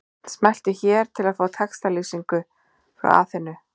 Smelltu hér til að sjá textalýsingu frá Aþenu